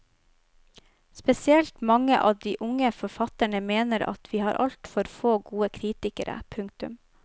Spesielt mange av de unge forfatterne mener at vi har altfor få gode kritikere. punktum